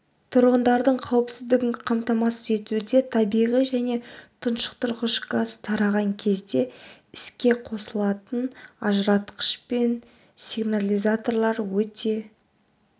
тұрғындардың қауіпсіздігін қамтамасыз етуде табиғи және тұншықтырғыш газ тараған кезде іске қосылатын ажыратқыштар мен сигнализаторлар өте